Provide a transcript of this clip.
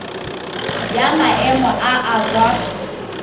ya maemo a a kwa